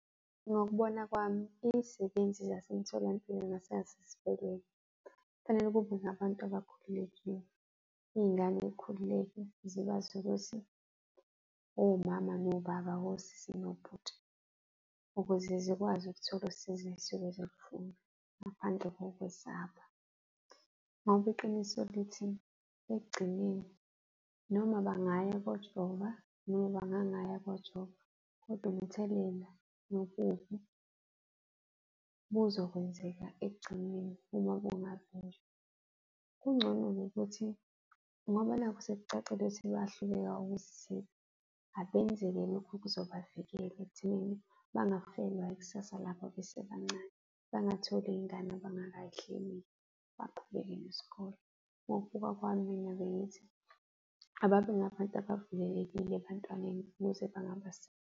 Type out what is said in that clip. Ngokubona kwami iy'sebenzi zasemtholampilo nasesibhedlela, kufanele kube ngabantu abakhululekile. Iy'ngane yikhululeke zikwazi ukuthi omama, nobaba, wosiso nobhuti ukuze zikwazi ukuthola usizo ezisuke zilufuna ngaphandle kokwesaba. Ngoba iqiniso lithi ekugcineni noma bangaya ukuyojava noma bangangaya ukuyojova kodwa umthelela nobubi buzokwenzeka ekugcineni uma bungavinjwa. Kungcono ngokuthi ngoba nakhu sekucacile ukuthi bayahluleka ukuzithiba abenzelwe lokhu okuzobavikela ekuthenini bangafelwa ikusasa labo besebancane, bangatholi iy'ngane abangakay'hleleli, baqhubeke nesikole. Ngokubuka kwami mina bengithi ababe ngabantu abavulelekile ebantwaneni ukuze .